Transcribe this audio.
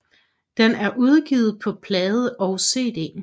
Den er udgivet på plade og CD